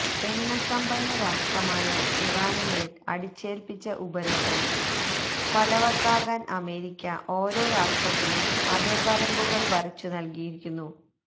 എണ്ണ സമ്പന്ന രാഷ്ട്രമായ ഇറാനു മേല് അടിച്ചേല്പ്പിച്ച ഉപരോധം ഫലവത്താകാന് അമേരിക്ക ഓരോ രാഷ്ട്രത്തിനും അതിര് വരമ്പുകള് വരച്ചു നല്കിയിരിക്കുന്നു